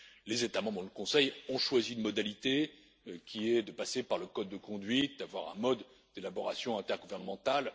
Les États membres et le Conseil ont choisi une modalité qui est de passer par le code de conduite, d'avoir un mode d'élaboration intergouvernementale.